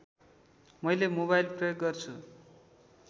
मैले मोबाइल प्रयोग गर्छु